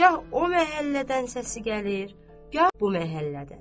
Gah o məhəllədən səsi gəlir, gah bu məhəllədən.